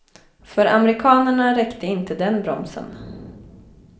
För amerikanerna räckte inte den bromsen.